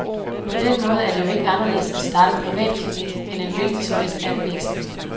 På den måde er det jo ikke anderledes at starte en privat klinik end en hvilken som helst anden virksomhed.